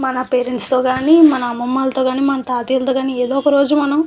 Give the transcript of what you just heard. మన పేరెంట్స్ తో కానీ మనం అమ్మమాలతో కానీ మన తాతయ్యతో కానీ ఎదో ఒక రోజు మనం --